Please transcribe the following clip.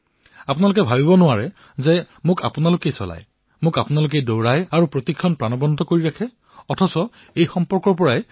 আপোনালোকে কল্পনা কৰা নাই যে আপোনালোকে মোক চলাই আছে দৌৰাই আছে আপোনালোকে মোক পলে পলে প্ৰাণৱন্ত কৰিছে আৰু এই যোগসূত্ৰৰেই মই অনুপস্থিতি অনুভৱ কৰিছিলো